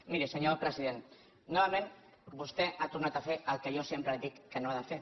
miri senyor president novament vostè ha tornat a fer el que jo sempre li dic que no ha de fer